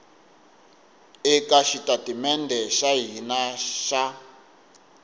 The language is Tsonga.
eka xitatimede xa hina xa